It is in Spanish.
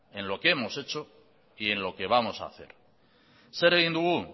en lo que hemos hecho y en lo que vamos hacer zer egin dugu